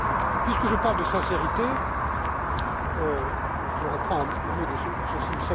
Et puisque je parle de sincérité, je reprends un mot